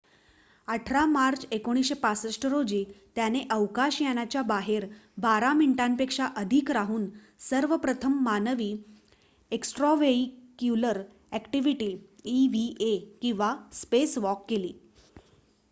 "18 March 1965 रोजी त्याने अवकाश यानाच्या बाहेर बारा मिनिटांपेक्षा अधिक राहून सर्वप्रथम मानवी एक्स्ट्राव्हेईक्युलर अॅक्टिविटी इव्हीए किंवा "स्पेसवॉक" केली.